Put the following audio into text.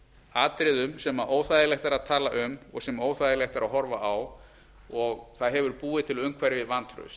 atriðum sem óþægilegt er að tala um og sem óþægilegt er að horfa á og það hefur búið til umhverfi vantrausts